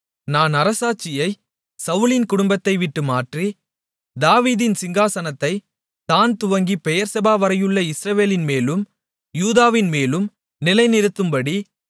நான் அரசாட்சியை சவுலின் குடும்பத்தைவிட்டு மாற்றி தாவீதின் சிங்காசனத்தைத் தாண் துவங்கிப் பெயெர்செபாவரையுள்ள இஸ்ரவேலின்மேலும் யூதாவின்மேலும் நிலைநிறுத்தும்படி